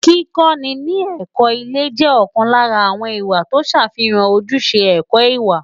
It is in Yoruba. Kíkọ́ni ní ẹ̀kọ́ ilé jẹ́ ọ̀kan lára àwọn ìwà tó ń ṣàfihàn ojúṣe ẹ̀kọ́ ìwà.